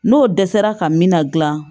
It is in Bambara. N'o dɛsɛra ka min na dilan